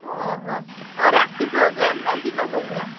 ଓହୋ, ଆଉ ରାତି programme ନା ଦିନ programme।